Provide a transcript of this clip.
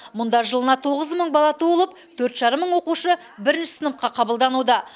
мұнда жылына тоғыз мың бала туылып төрт жарым мың оқушы бірінші сыныпқа қабылдануда